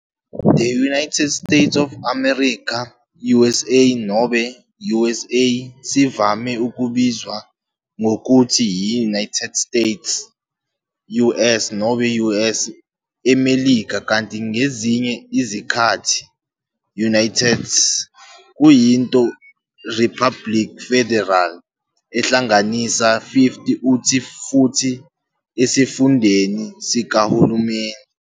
The United States of America, USA nobe USA, sivame ukubizwa ngokuthi i-United States, US nobe US, eMelika, kanti ngezinye izikhathi-United, kuyinto republic federal ehlanganisa 50 uthi futhi esifundeni sikahulumeni.